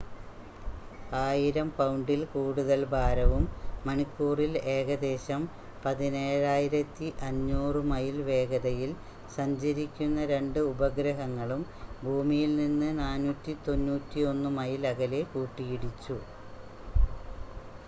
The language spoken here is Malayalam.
1,000 പൗണ്ടിൽ കൂടുതൽ ഭാരവും മണിക്കൂറിൽ ഏകദേശം 17,500 മൈൽ വേഗതയിൽ സഞ്ചരിക്കുന്ന രണ്ട് ഉപഗ്രഹങ്ങളും ഭൂമിയിൽ നിന്ന് 491 മൈൽ അകലെ കൂട്ടിയിടിച്ചു